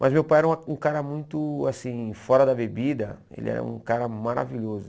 Mas meu pai era uma um cara muito assim fora da bebida, ele era um cara maravilhoso.